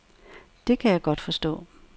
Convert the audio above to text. Det kan jeg godt forstå.